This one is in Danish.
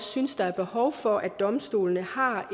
synes der er behov for at domstolene har